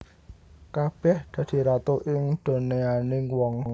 Kabèh dadi ratu ing donyaning wong